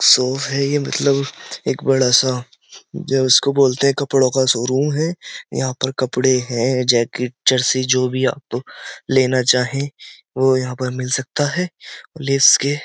shop है ये मतलब एक बड़ा सा जो उसको बोलते हैं कपड़ों का शोरूम है यहां पर कपड़े हैं जैकेट चर्सी जो भी आप लेना चाहें वो यहाँ पर मिल सकता है ले इसके --